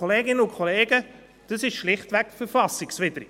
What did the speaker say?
Kolleginnen und Kollegen, dies ist schlichtweg verfassungswidrig.